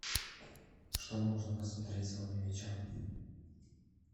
что можно посмотреть сегодня вечером